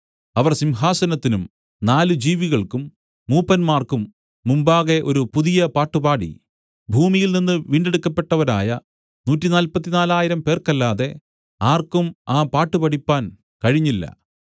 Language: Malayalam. അവർ സിംഹാസനത്തിനും നാല് ജീവികൾക്കും മൂപ്പന്മാർക്കും മുമ്പാകെ ഒരു പുതിയ പാട്ടുപാടി ഭൂമിയിൽനിന്നു വീണ്ടെടുക്കപ്പെട്ടവരായ 144000 പേർക്കല്ലാതെ ആർക്കും ആ പാട്ടു പഠിപ്പാൻ കഴിഞ്ഞില്ല